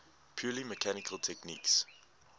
purely mechanical techniques